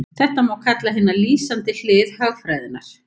Þetta má kalla hina lýsandi hlið hagfræðinnar.